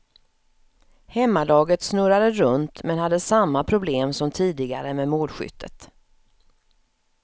Hemmalaget snurrade runt, men hade samma problem som tidigare med målskyttet.